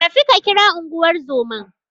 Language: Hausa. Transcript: Tafi ka kira Unguwar zoman.